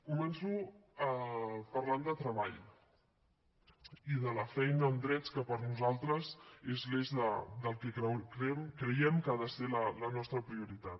començo parlant de treball i de la feina en drets que per nosaltres és l’eix del que creiem que ha de ser la nostra prioritat